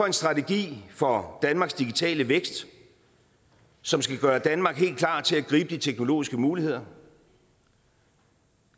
en strategi for danmarks digitale vækst som skal gøre danmark helt klar til at gribe de teknologiske muligheder